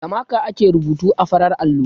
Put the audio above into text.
Da maka ake rubutu a farar allo.